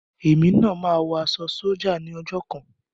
Èmi náà máa wọ aṣọ sójà ní ọjọ́ kan.